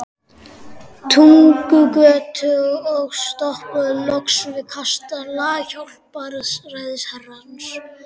Túngötuna og stoppuðum loks við kastala Hjálpræðishersins.